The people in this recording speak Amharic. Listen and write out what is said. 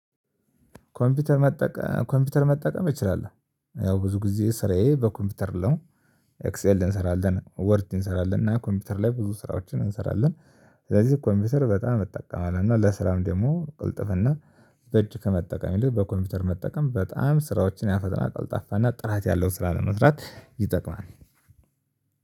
ኮምፒውተር መጠቀም ኮምፒውተር መጠቀም እችላለሁ ያው ብዙ ጊዜ ስራዬ በኮምፒውተር ነው። ኤክሴል እንሰራለን ወርድ እንሰራለን እና ኮምፒውተር ላይ ብዙ ስራዎችን እንሰራለን። ስለዚህ ኮምፒውተር በጣም እጠቀማለሁ እና ለስራም ደግሞ ቅልጥፍና በእጅ ከመጠቀም ይልቅ በኮምፒውተር መጠቀም በጣም ስራዎችን ያፈጥናል ቀልጣፋና ጥራት ያለው ስራ ለመስራት ይጠቅማል።